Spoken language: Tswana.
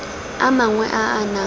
a mangwe a a nang